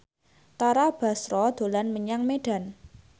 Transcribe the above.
Tara Basro dolan menyang Medan